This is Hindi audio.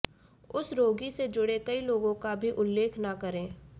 उस रोगी से जुड़े कई लोगों का भी उल्लेख न करें